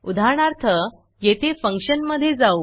उदाहरणार्थ येथे फंक्शनमधे जाऊ